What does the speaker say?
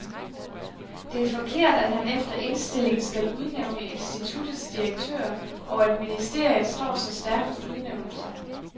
Det er forkert, at han efter indstilling skal udnævne instituttets direktør, og at ministeriet står så stærkt ved udnævnelser.